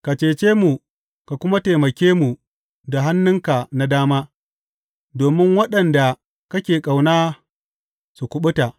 Ka cece mu ka kuma taimake mu da hannunka na dama, domin waɗanda kake ƙauna su kuɓuta.